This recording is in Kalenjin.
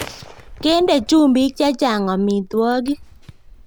Kende chumbiik chechang amitwokik